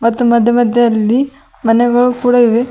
ಮತ್ತು ಮಧ್ಯ ಮಧ್ಯದಲ್ಲಿ ಮನೆಗಳು ಕೂಡ ಇವೆ.